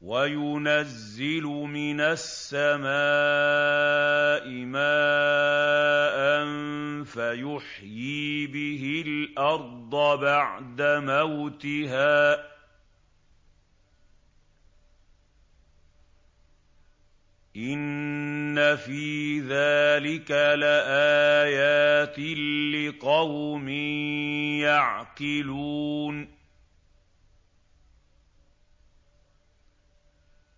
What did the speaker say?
وَيُنَزِّلُ مِنَ السَّمَاءِ مَاءً فَيُحْيِي بِهِ الْأَرْضَ بَعْدَ مَوْتِهَا ۚ إِنَّ فِي ذَٰلِكَ لَآيَاتٍ لِّقَوْمٍ يَعْقِلُونَ